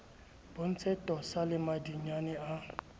bontshe tosa le madinyane a